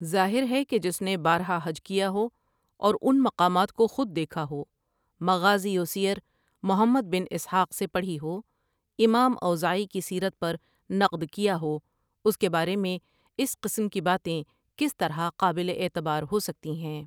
ظاہر ہے کہ جس نے بارہا حج کیا ہو اور اُن مقامات کوخود دیکھا ہو مغازی وسیر محمد بن اسحاق سے پڑھی ہو امام اوزاعی کی سیرت پرنقد کیا ہو اس کے بارے میں اس قسم کی باتیں کس طرح قابل اعتبار ہوسکتی ہیں۔